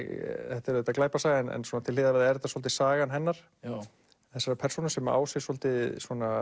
þetta er auðvitað glæpasaga en til hliðar er þetta svolítið sagan hennar þessarar persónu sem á sér svolítið